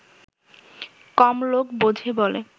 কম লোক বোঝে বলে